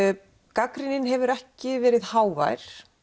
gagnrýnin hefur ekki verið hávær